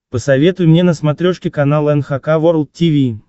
посоветуй мне на смотрешке канал эн эйч кей волд ти ви